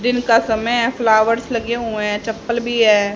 दिन का समय है फ्लावर्स लगे हुए हैं चप्पल भी है।